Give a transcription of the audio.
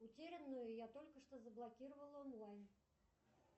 утерянную я только что заблокировала онлайн